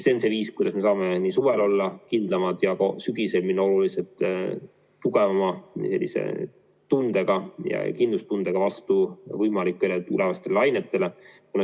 See on see viis, kuidas me saame suvel kindlamad olla ja sügisel minna oluliselt tugevama kindlustundega vastu võimalikele uutele lainetele.